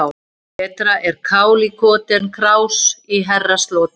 Betra er kál í koti en krás í herrasloti.